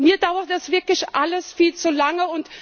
Mir dauert das wirklich alles viel zu lange.